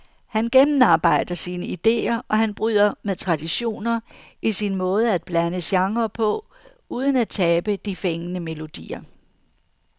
Han gennemarbejder sine ideer, og han bryder med traditioner i sin måde at blande genrer på uden at tabe de fængende melodier.